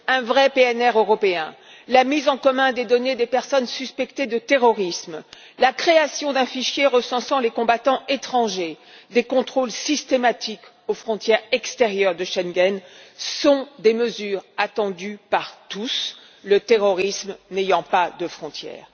Un vrai PNR européen, la mise en commun des données des personnes suspectées de terrorisme, la création d'un fichier recensant les combattants étrangers, des contrôles systématiques aux frontières extérieures de Schengen sont des mesures attendues par tous, le terrorisme n'ayant pas de frontière.